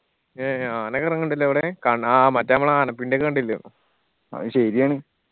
ഏ ആനൊക്കെ ഇറങ്ങലിണ്ട്‌ ല്ലേ അവിടെ കൺ ആ മറ്റെ അമ്മൾ ആനപ്പിണ്ടി ഒക്കെ കണ്ടില്ലൊ അത് ശെരിയാണ്